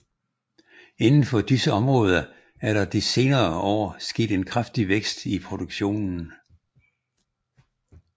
Inden for disse områder er der de senere år sket en kraftig vækst i produktionen